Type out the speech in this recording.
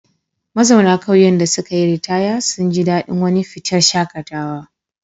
Mazauna ƙauyen da suka yi ritaya sun ji daɗin wani fitar shaƙatawa.